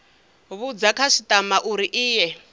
vhudza khasitama uri i ye